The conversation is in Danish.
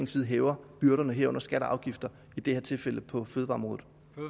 side hæver byrderne herunder skatter og afgifter i det her tilfælde på fødevareområdet